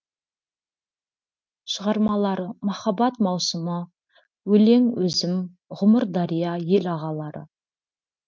шығармалары махаббат маусымы өлең өзім ғұмырдария ел ағалары